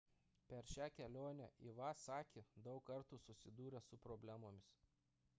per šią kelionę iwasaki daug kartų susidūrė su problemomis